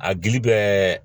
A gili bɛɛ